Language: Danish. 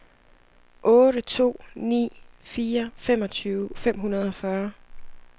otte to ni fire femogtyve fem hundrede og fyrre